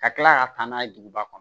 Ka kila ka taa n'a ye duguba kɔnɔ